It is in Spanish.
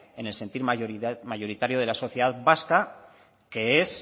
en el sentir mayoritario de la sociedad vasca que es